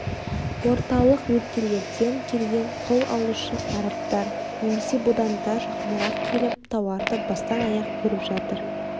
орталық өлкелерден келген құл алушы арабтар немесе будандар жақынырақ келіп тауарды бастан-аяқ көріп жатыр